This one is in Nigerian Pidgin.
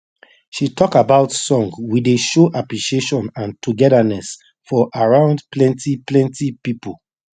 she talk about song we dey show appreciation and togetherness for around plenty plenty pipo